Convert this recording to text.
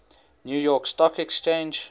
new york stock exchange